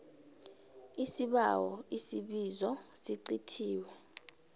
isibawo isibizo sicithiwe